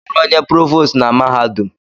Gịnị bụ ọrụ onye provost na mahadum?